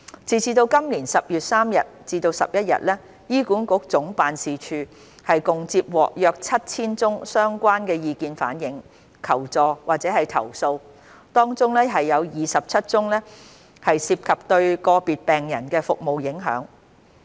截至今年10月31日，醫管局總辦事處共接獲約 7,000 宗相關的意見反映、求助或投訴，當中27宗涉及對個別病人的服務影響。